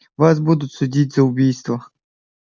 вас будут судить за убийство